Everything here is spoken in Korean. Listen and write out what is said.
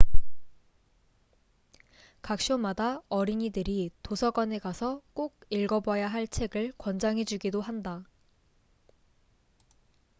각 쇼마다 어린이들이 도서관에 가서 꼭 읽어봐야 할 책을 권장해 주기도 한다